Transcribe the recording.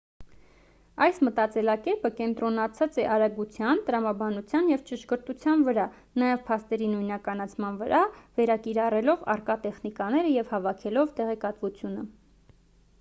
այս մտածելակերպը կենտրոնացած է արագության տրամաբանության և ճշգրտության վրա նաև փաստերի նույնականացման վրա վերակիրառելով առկա տեխնիկաները և հավաքելով տեղեկատվությունը